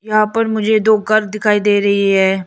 यहां पर मुझे दो घर दिखाई दे रही है।